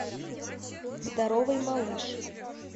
здоровый малыш